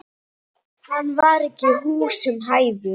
Hann var ekki húsum hæfur.